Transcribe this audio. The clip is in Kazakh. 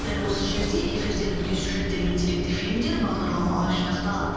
дәл осы жерде эфирден өткен сюжеттер мен деректі фильмдер бағдарламалар жинақталады